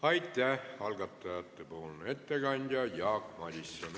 Aitäh, algatajate ettekandja Jaak Madison!